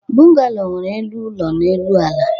bungalow nwere elu ụlọ n'elu ala